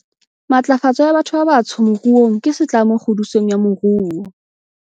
Matlafatso ya batho ba batsho moruong ke setlamo kgodisong ya moruo